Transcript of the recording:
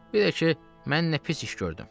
Bir də ki, mən nə pis iş gördüm?